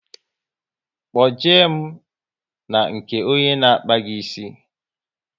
Kpo je mụ na nke onye n'akpa gi ísì